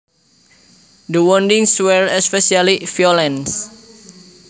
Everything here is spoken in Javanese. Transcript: The woundings were especially violent